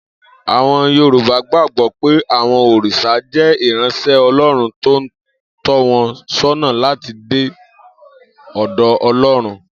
Àwo̩n Yorùbá gbàgbó̩ pé àwo̩n òrìs̩à jé̩ ìráns̩é̩ O̩ló̩run tó ń tó̩ wo̩n só̩nà láti dé ò̩dò̩ O̩ló̩run